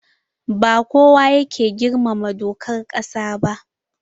Ba kowa yake girmama dokar ƙasa ba.